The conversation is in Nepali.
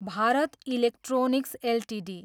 Bharat electronics Ltd